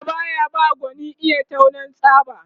Allah baya ba gwani iya taunan tsaba